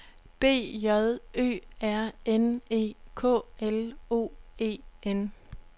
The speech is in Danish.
B J Ø R N E K L O E N